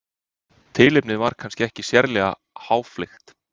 tilefnið var kannski ekki sérlega háfleygt